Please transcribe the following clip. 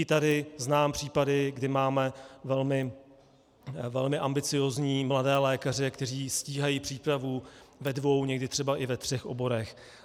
I tady znám případy, kdy máme velmi ambiciózní mladé lékaře, kteří stíhají přípravu ve dvou, někdy třeba i ve třech oborech.